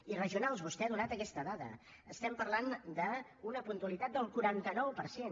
i regionals vostè ha donat aquesta dada parlem d’una puntualitat del quaranta nou per cent